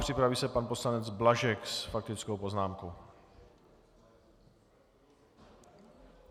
Připraví se pan poslanec Blažek s faktickou poznámkou.